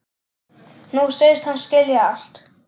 Nú segist hann skilja allt.